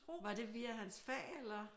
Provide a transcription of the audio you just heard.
Var det via hans fag eller?